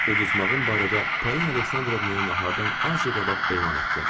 Uduzmağım barədə Polina Aleksandrovnaya nahardan azca qabaq elan etdim.